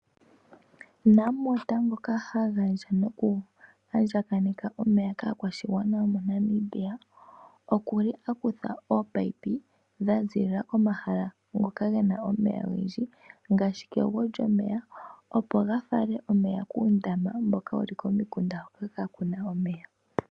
Namwater ngoka ha gandja noku andjakaneka omeya kaakwashigwana yomo Namibia okuli a kutha ominino dha zilila komahala ngoka gena omeya ogendji opo ga fale omeya kuundama mboka wuli komikunda hoka kakunasha omeya.